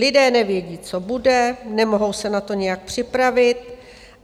Lidé nevědí, co bude, nemohou se na to nějak připravit.